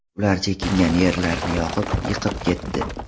Ular chekingan yerlarini yoqib, yiqib ketdi.